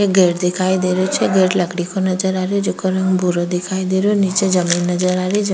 एक गेट दिखाई दे रही छे गेट लकड़ी को नजर आ रही जेका रंग भूरा दिखाई दे रहो निचे जमीन नजर आ रही जम --